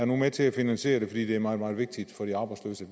med til at finansiere det fordi det er meget meget vigtigt